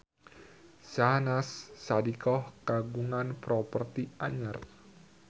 Syahnaz Sadiqah kagungan properti anyar